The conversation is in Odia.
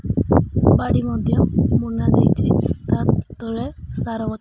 ବାଡ଼ି ମଧ୍ୟ୍ୟ ମୁନା ଦେଇଛି ତା ତଳେ ସାର --